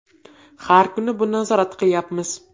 Har kuni buni nazorat qilyapmiz.